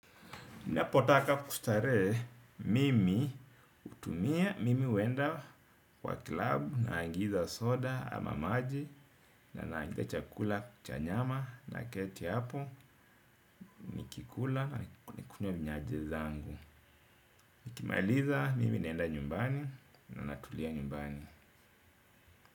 Ninapotaka kustarehe mimi hutumia mimi huenda kwa klabu, naagiza soda ama maji, na naagiza chakula, chanyama naketi hapo, nikikula, na nikunywe minyanje zangu. Nikimaliza, mimi naenda nyumbani, na natulia nyumbani.